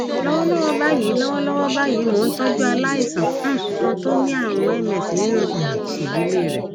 lọwọlọwọ báyìí lọwọlọwọ báyìí mò ń tọjú aláìsàn um kan tó ní àrùn ms nínú um ìdílé rẹ